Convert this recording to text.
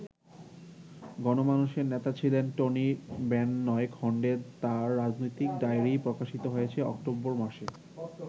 গণমানুষের নেতা ছিলেন টনি বেন নয় খন্ডে তাঁর রাজনৈতিক ডায়রি প্রকাশিত হয়েছে অক্টোবর মাসে।